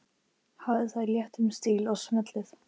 Hafðu það í léttum stíl og smellið